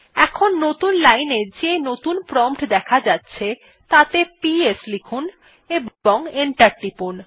এখন নতুন লাইন এ যে নতুন প্রম্পট দেখা যাচ্ছে তাতে পিএস লিখুন এবং এন্টার টিপুন